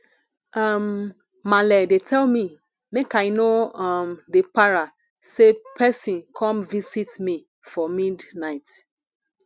um maale dey tell me make i no um dey para sey person come visit me for midnight